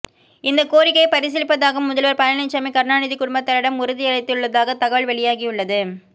இந்த கோரிக்கையை பரிசீலிப்பதாக முதல்வர் பழனிசாமி கருணாநிதி குடும்பத்தாரிடம் உறுதியளித்துள்ளதாக தகவல் வெளியாகியுள்ளது